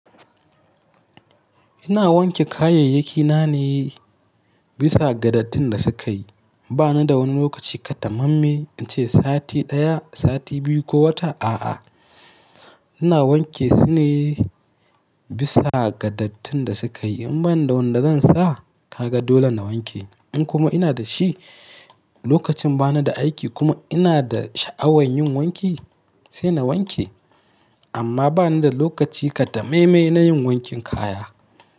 Ina wanke kayayyaki na ne bisa ga dattin da sukayi. Bani da wani lokaci katamamme in ce sati ɗaya, sati biyu ko wata a'a. Ina wanke su ne bisa ga dattin da sukayi. In bani da wanda zan sa, ka ga dole na wanke. In kuma ina da shi, lokacin bana da aiki kuma ina da sha'awan yin wanki, sai na wanke. Amma bani da lokaci katammaime na yin wankin kaya.